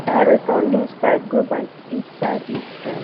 i return loose pipe go back inside its trench